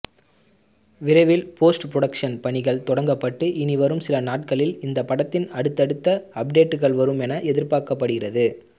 விரைவில் post productions பணிகள் தொடங்கப்பட்டு இனிவரும் சில நாட்களில் இந்த படத்தின் அடுத்தடுத்த அப்டேட்டுக்கள் வரும் என எதிர்பார்க்கப்படுகிறது